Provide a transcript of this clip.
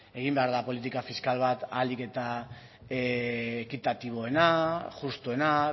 egin behar da politika fiskal bat ahalik eta ekitatiboena justuena